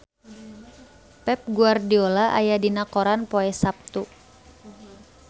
Pep Guardiola aya dina koran poe Saptu